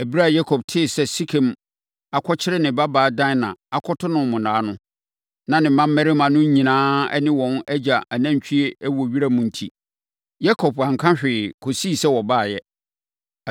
Ɛberɛ a Yakob tee sɛ Sekem akɔkyere ne babaa Dina, akɔto no monnaa no, na ne mmammarima no nyinaa ne wɔn agya anantwie wɔ wiram. Enti, Yakob anka hwee kɔsii sɛ wɔbaeɛ.